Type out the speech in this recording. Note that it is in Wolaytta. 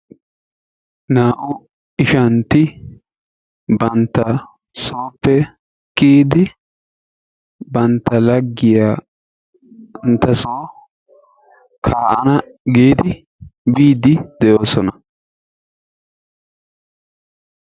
Naa"u ishshanti bantta sooppe kiyidi bantta lagiyaa banttaa so ka'anna giidi biidi de"oosona.